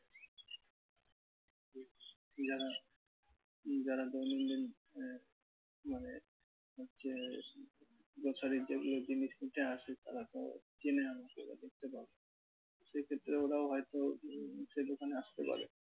যারা যারা দৈনন্দিন মানে হচ্ছে প্রচারে যেগুলো জিনিস নিতে আসে হয়ত চেনে আমাকে সেক্ষেত্রে ওরাও হয়তো সে দোকানে আসতে পারে